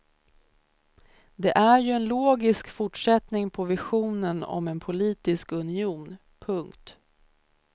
Det är ju en logisk fortsättning på visionen om en politisk union. punkt